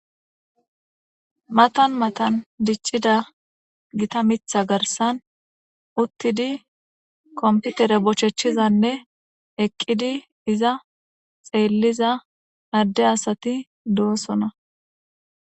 matan matan dichida gita mitha garsan uttidi komputere bochechizanne eqqidi iza xeelliza marde asati doosona